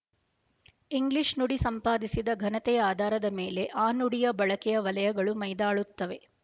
English ನುಡಿ ಸಂಪಾದಿಸಿದ ಘನತೆಯ ಆಧಾರದ ಮೇಲೆ ಆ ನುಡಿಯ ಬಳಕೆಯ ವಲಯಗಳು ಮೈದಾಳುತ್ತವೆ